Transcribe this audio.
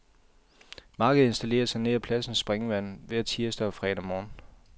Markedet installerer sig nær pladsens springvand hver tirsdag og fredag morgen.